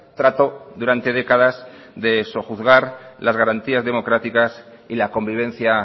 trató durante décadas de sojuzgar las garantías democráticas y la convivencia